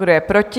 Kdo je proti?